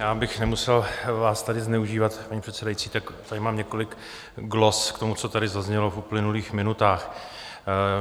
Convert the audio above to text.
Já, abych nemusel vás tady zneužívat, paní předsedající, tak tady mám několik glos k tomu, co tady zaznělo v uplynulých minutách.